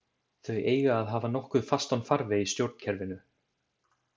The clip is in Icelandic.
Þau eiga að hafa nokkuð fastan farveg í stjórnkerfinu.